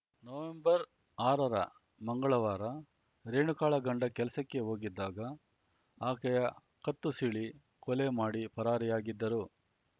ನವೆಂಬರ್ಆರರ ಮಂಗಳವಾರ ರೇಣುಕಾಳ ಗಂಡ ಕೆಲಸಕ್ಕೆ ಹೋಗಿದ್ದಾಗ ಆಕೆಯ ಕತ್ತು ಸೀಳಿ ಕೊಲೆ ಮಾಡಿ ಪರಾರಿಯಾಗಿದ್ದರು